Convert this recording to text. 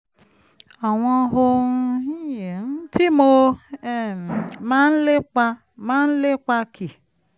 àwọn ohun tí mo um máa ń lépa máa ń lépa kì